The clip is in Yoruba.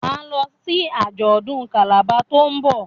Ma lọ sí ajọdun Calabar to'n nbọ.